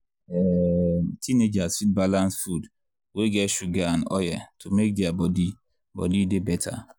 um teenagers fit balance food wey get sugar and oil to make their body body dey better.